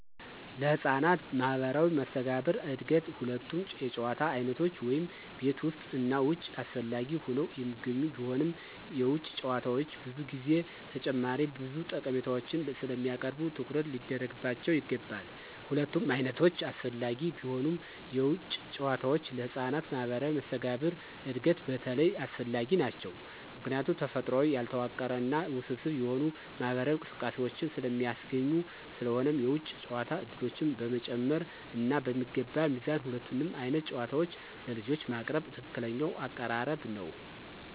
ለህፃናት ማህበራዊ መስተጋብር እድገት ሁለቱም የጨዋታ ዓይነቶች (ቤት ውስጥ እና ውጭ) አስፈላጊ ሆነው የሚገኙ ቢሆንም፣ የውጭ ጨዋታዎች ብዙ ጊዜ ተጨማሪ ብዙ ጠቀሜታዎችን ስለሚያቀርቡ ትኩረት ሊደረግባቸው ይገባል። ሁለቱም ዓይነቶች አስፈላጊ ቢሆኑም፣ የውጭ ጨዋታዎች ለህፃናት ማህበራዊ መስተጋብር እድገት በተለይ አስፈላጊ ናቸው ምክንያቱም ተፈጥሯዊ፣ ያልተዋቀረ እና ውስብስብ የሆኑ ማህበራዊ እንቅስቃሴዎችን ስለሚያስገኙ። ስለሆነም የውጭ ጨዋታ ዕድሎችን በመጨመር እና በሚገባ ሚዛን ሁለቱንም ዓይነት ጨዋታዎች ለልጆች ማቅረብ ትክክለኛው አቀራረብ ነው።